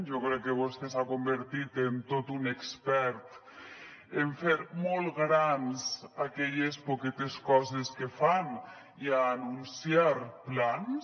jo crec que vostè s’ha convertit en tot un expert en fer molt grans aquelles poquetes coses que fan i a anunciar plans